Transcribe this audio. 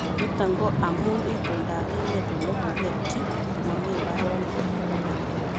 Nito ko amu itondap emet Ole koketyi komomi mbaronik